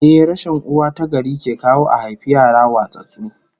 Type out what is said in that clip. Ehh, rashin uwa tagari ke kawo a haifi yara watsattsu